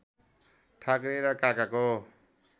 ठाकरे र काकाको